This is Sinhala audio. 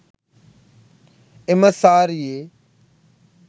එම සාරියේ